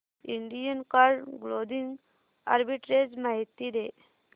Indian card clothing arbitrage माहिती दे